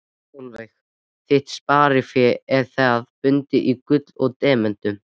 Sólveig: Þitt sparifé er það bundið í gulli og demöntum?